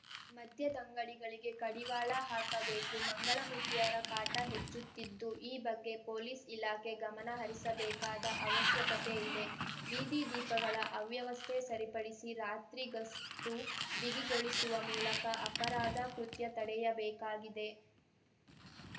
ಮದ್ಯದಂಗಡಿಗಳಿಗೆ ಕಡಿವಾಳ ಹಾಕಬೇಕು ಮಂಗಳಮುಖಿಯರ ಕಾಟ ಹೆಚ್ಚುತ್ತಿದ್ದು ಈ ಬಗ್ಗೆ ಪೊಲೀಸ್‌ ಇಲಾಖೆ ಗಮನ ಹರಿಸಬೇಕಾದ ಅವಶ್ಯಕತೆ ಇದೆ ಬೀದಿ ದೀಪಗಳ ಅವ್ಯವಸ್ಥೆ ಸರಿಪಡಿಸಿ ರಾತ್ರಿ ಗಸ್ತು ಬಿಗಿಗೊಳಿಸುವ ಮೂಲಕ ಅಪರಾಧ ಕೃತ್ಯ ತಡೆಯಬೇಕಾಗಿದೆ